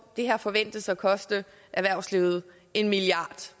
det her forventes at koste erhvervslivet en milliard